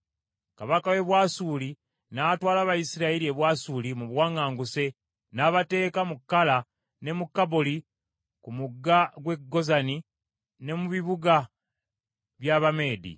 Kabaka w’e Bwasuli n’atwala Abayisirayiri e Bwasuli mu buwaŋŋanguse, n’abateeka mu Kala, ne mu Kaboli ku mugga gw’e Gozani ne mu bibuga by’Abameedi,